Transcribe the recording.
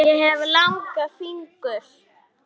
Ég hef langa fingur.